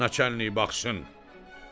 Naçalnik baxsın."